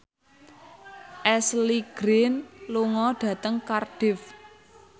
Ashley Greene lunga dhateng Cardiff